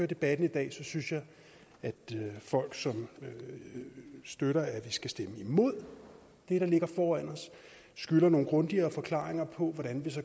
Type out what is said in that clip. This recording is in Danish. debatten i dag synes jeg at folk som støtter at vi skal stemme imod det der ligger foran os skylder nogle grundigere forklaringer på hvordan vi så